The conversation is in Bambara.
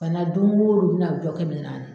Bana don o don u bɛ na jɔkɛ minɛ an na.